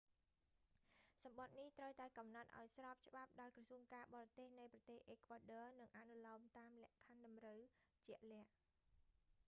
សំបុត្រនេះត្រូវតែកំណត់ឱ្យស្របច្បាប់ដោយក្រសួងការបរទេសនៃប្រទេសអេក្វាដ័រ និងអនុលោមតាមលក្ខខណ្ឌតម្រូវជាក់លាក់